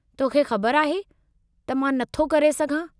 तोखे ख़बर आहे, त मां नथो करे सघां।